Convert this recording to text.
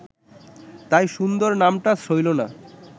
তাই সুন্দর নামটা সইল না